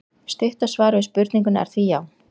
Stutta svarið við spurningunni er því já!